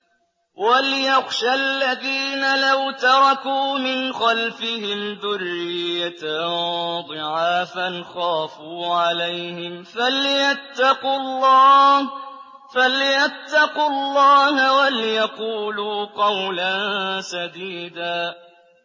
وَلْيَخْشَ الَّذِينَ لَوْ تَرَكُوا مِنْ خَلْفِهِمْ ذُرِّيَّةً ضِعَافًا خَافُوا عَلَيْهِمْ فَلْيَتَّقُوا اللَّهَ وَلْيَقُولُوا قَوْلًا سَدِيدًا